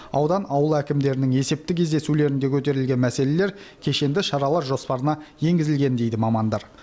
аудан ауыл әкімдерінің есепті кездесулерінде көтерілген мәселелер кешенді шаралар жоспарына енгізілген дейді мамандар